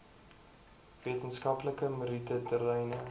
wetenskaplike meriete terreine